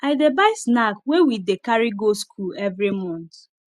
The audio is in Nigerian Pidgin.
i dey buy snack wey we dey carry go skool every month